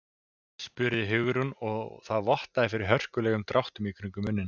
spurði Hugrún og það vottaði fyrir hörkulegum dráttum kringum munninn.